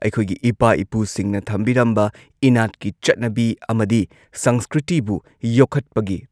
ꯑꯩꯈꯣꯏꯒꯤ ꯏꯄꯥ ꯏꯄꯨꯁꯤꯡꯅ ꯊꯝꯕꯤꯔꯝꯕ ꯏꯅꯥꯠꯀꯤ ꯆꯠꯅꯕꯤ ꯑꯃꯗꯤ ꯁꯪꯁꯀ꯭ꯔꯤꯇꯤꯕꯨ ꯌꯣꯛꯈꯠꯄꯒꯤ